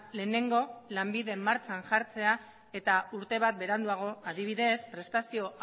lehenengo lanbiden martxan jartzea eta urte bat beranduago adibidez prestazio